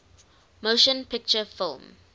motion picture film